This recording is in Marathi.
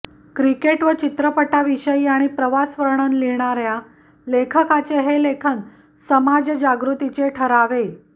क्रिकेट व चित्रपटाविषयी आणि प्रवासवर्णन लिहिणाऱ्या लेखकाचे हे लेखन समाजजागृतीचे ठरावे